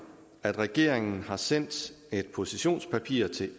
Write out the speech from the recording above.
at regeringen har sendt et positionspapir til